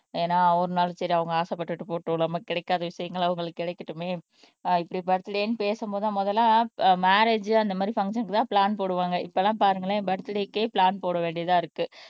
ஏன்னா அவர்னாலும் சரி அவங்க ஆசைப்பட்டுட்டு போகட்டும் நமக்கு கிடைக்காத விஷயங்கள் அவங்களுக்கு கிடைக்கட்டுமே அஹ் இப்படி பன்னலையேன்னு பேசும்போதுதான் முதல்ல அஹ் மேரேஜ் அந்த மாதிரி பங்சன்க்குதான் பிளான் போடுவாங்க இப்பெல்லாம் பாருங்களேன் பர்த்டேக்கே பிளான் போட வேண்டியதா இருக்கு